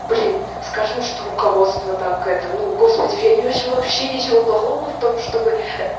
блин скажем что руководство так это ну господи я не вижу вообще ничего плохого в том чтобы